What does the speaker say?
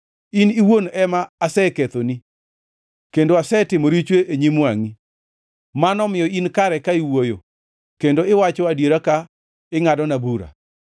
In iwuon ema asekethoni kendo asetimo richo e nyim wangʼi, mano omiyo in kare ka iwuoyo kendo iwacho adiera ka ingʼadona bura.